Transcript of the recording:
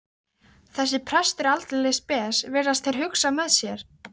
Þessi prestur er aldeilis spes, virðast þeir hugsa með sér.